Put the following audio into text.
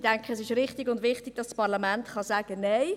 Ich denke, es ist wichtig, dass das Parlament sagen kann: